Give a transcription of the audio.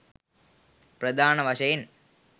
ප්‍රධාන වශයෙන්